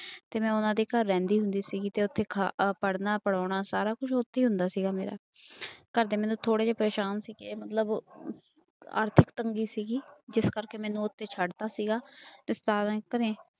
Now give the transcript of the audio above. ਤੇ ਮੈਂ ਉਹਨਾਂ ਦੇ ਘਰ ਰਹਿੰਦੀ ਹੁੰਦੀ ਸੀਗੀ ਤੇ ਉੱਥੇ ਖਾ ਅਹ ਪੜ੍ਹਨਾ ਪੜ੍ਹਾਉਣਾ ਸਾਰਾ ਕੁਛ ਉੱਥੇ ਹੀ ਹੁੰਦਾ ਸੀਗਾ ਮੇਰਾ ਘਰਦੇ ਮੇਰੇ ਥੋੜ੍ਹੇ ਜਿਹੇ ਪਰੇਸਾਨ ਸੀਗੇ ਮਤਲਬ ਆਰਥਿਕ ਤੰਗੀ ਸੀਗੀ, ਜਿਸ ਕਰਕੇ ਮੈਨੂੰ ਉੱਥੇ ਛੱਡ ਦਿੱਤਾ ਸੀਗਾ ਤੇ ਨੇ